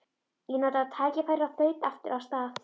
Ég notaði tækifærið og þaut aftur af stað.